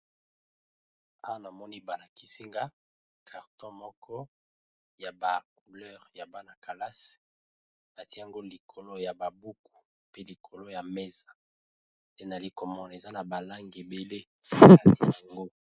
ane amoni bana-kisinga karton moko ya bacouleur ya bana kalase batiango likolo ya babuku pe likolo ya mesa te na likomone eza na balange ebele kati yango